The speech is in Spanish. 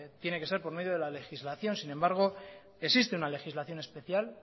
tiene que ser por medio de la legislación sin embargo existe una legislación especial